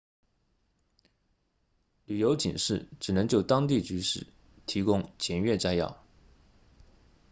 旅游警示只能就当地局势提供简略摘要